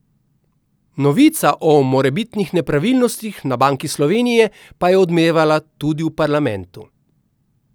Novica o morebitnih nepravilnostih na Banki Slovenije pa je odmevala tudi v parlamentu.